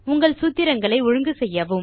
உங்கள் சூத்திரங்களை ஒழுங்கு செய்யவும்